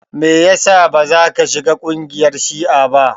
Me yasa bazaka shiga kungiyar shi'a ba?